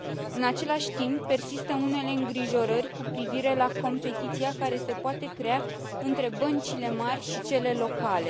În același timp, persistă unele îngrijorări cu privire la competiția care se poate crea între băncile mari și cele locale.